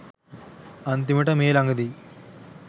අන්තිමට මේ ළඟදී